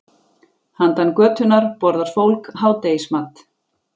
Handan götunnar borðar fólk hádegismat.